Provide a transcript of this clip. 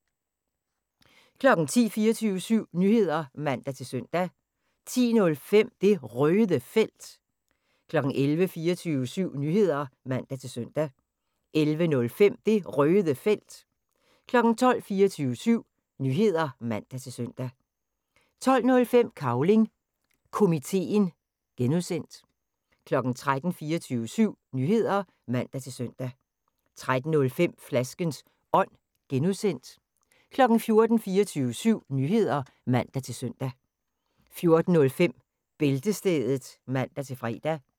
10:00: 24syv Nyheder (man-søn) 10:05: Det Røde Felt 11:00: 24syv Nyheder (man-søn) 11:05: Det Røde Felt 12:00: 24syv Nyheder (man-søn) 12:05: Cavling Komiteen (G) 13:00: 24syv Nyheder (man-søn) 13:05: Flaskens Ånd (G) 14:00: 24syv Nyheder (man-søn) 14:05: Bæltestedet (man-fre)